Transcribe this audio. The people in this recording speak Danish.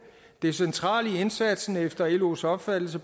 det centrale i indsatsen bør efter los opfattelse